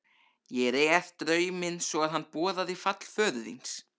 Ég réð drauminn svo að hann boðaði fall föður þíns.